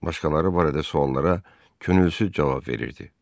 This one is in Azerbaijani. Başqaları barədə suallara könülsüz cavab verirdi.